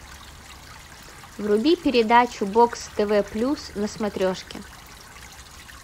вруби передачу бокс тв плюс на смотрешке